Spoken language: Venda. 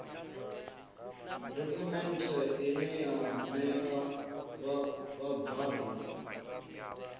dokhumenthe ine ya ṋea vhabvann